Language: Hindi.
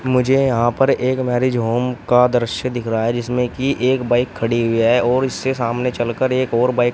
मुझे यहां पर एक मैरिज होम का द्रश्य दिख रहा है जिसमें की एक बाइक खड़ी हुई है और इससे सामने चलकर एक और बाइक --